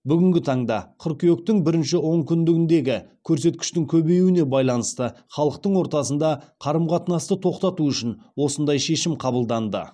бүгінгі таңда қыркүйектің бірінші онкүндігіндегі көрсеткіштің көбеюіне байланысты халықтың ортасында қарым қатынасты тоқтату үшін осындай шешім қабылданды